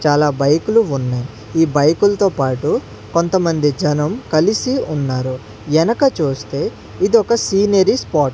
చాలా బైకులు ఉన్నాయి ఈ బైకులతో పాటు కొంతమంది జనం కలిసి ఉన్నారు ఎనక చూస్తే ఇదొక సీనరీ స్పాట్ .